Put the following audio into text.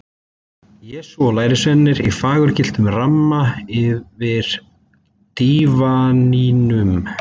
Jesú og lærisveinarnir í fagurgylltum ramma yfir dívaninum.